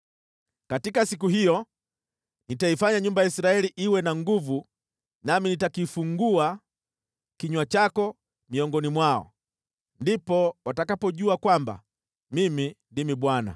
“Katika siku hiyo nitaifanya nyumba ya Israeli iwe na nguvu nami nitakifungua kinywa chako miongoni mwao. Ndipo watakapojua kwamba Mimi ndimi Bwana .”